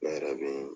Ne yɛrɛ bɛ